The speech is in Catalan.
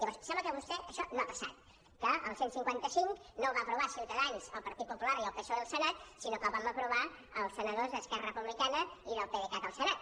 llavors sembla que per vostè això no ha passat que el cent i cinquanta cinc no el va aprovar ciutadans el partit popular i el psoe al senat sinó que el vam aprovar els senadors d’esquerra republicana i del pdecat al senat